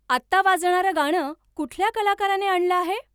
आत्ता वाजणारं गाणं कुठल्या कलाकाराने आणलं आहे?